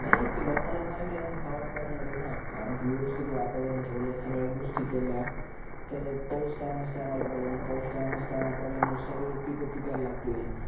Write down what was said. नाही ते लोकांना लगाना खावाच लागणार आहे न कारण कि व्यवस्तीत वातावरण ठेवल सगळ्या गोष्टी केल्या पावूस time time ला पडल पावूस time time पडल्यामुळे सगळे पिक पिकायला लागतील